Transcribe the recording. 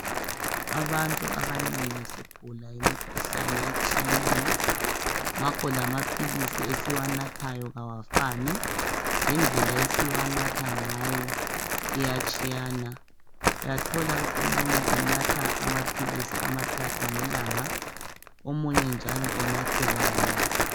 Abantu abanengi sigula imikhuhlane etshiyeneyo ngakho lamaphilisi esiwanathayo kawafani lendlela esiwanatha ngayo iyatshiyana , uyathola omunye enatha amaphilisi amathathu ngelanga omunye njalo enathe kanye